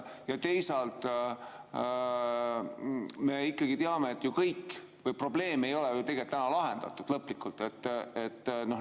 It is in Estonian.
Ja teisalt me ikkagi teame ju kõik, et probleem ei ole ju täna lõplikult lahendatud.